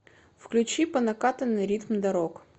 включи по накатанной ритм дорог